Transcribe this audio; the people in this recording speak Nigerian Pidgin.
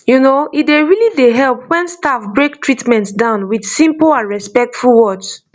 you know e really dey help when staff break treatment down with simple and respectful words